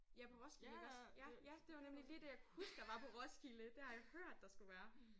Ja på Roskilde iggås? Ja ja det var nemlig lige det jeg kunne huske der var på Roskilde. Det har jeg hørt der skulle være